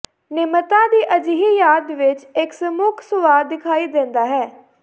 ਨਿਮਰਤਾ ਦੀ ਅਜਿਹੀ ਯਾਦ ਵਿਚ ਇਕ ਸੂਖਮ ਸੁਆਦ ਦਿਖਾਈ ਦਿੰਦਾ ਹੈ